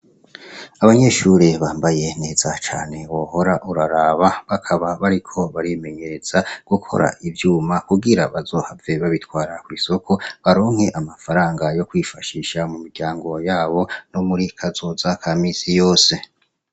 Abanyeshure bambaye neza cane wohora uraraba. Bakaba bariko barimenyereza mugukora ivyuma kugira bazohore babitwara kw'isoko, baronke amafaranga yo kwifashisha mu muryango yabo no muri kazoza ka misi yose.